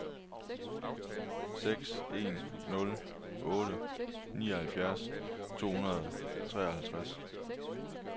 seks en nul otte nioghalvfjerds to hundrede og treoghalvtreds